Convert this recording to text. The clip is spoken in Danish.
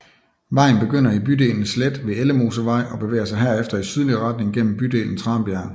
Vejen begynder i bydelen Slet ved Ellemosevej og bevæger sig herefter i sydlig retning gennem bydelen Tranbjerg